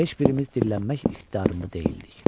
Heç birimiz dillənmək ixtiyarında deyildik.